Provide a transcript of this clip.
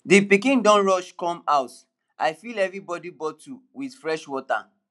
the pikin dem rush come house i fill everybody bottle with fresh water